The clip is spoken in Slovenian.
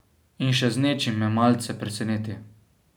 In še z nečim me malce preseneti.